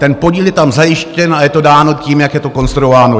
Ten podíl je tam zajištěn a je to dáno tím, jak je to konstruováno.